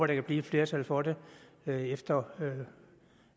der kan blive et flertal for det efter